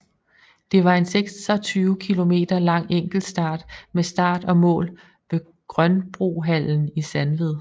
Det var en 26 km lang enkeltstart med start og mål ved Grønbrohallen i Sandved